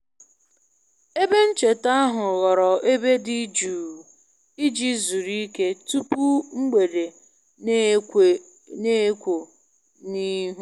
Ebe ncheta ahụ ghọrọ ebe dị jụụ iji zuru ike tupu mgbede na-ekwo ekwo n'ihu